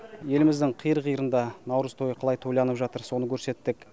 еліміздің қиыр қиырында наурыз тойы қалай тойланып жатыр соны көрсеттік